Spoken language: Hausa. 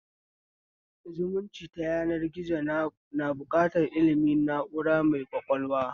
Zalunci ta yanar gizo na buƙatar ilmin na'ura mai ƙwaƙwalwa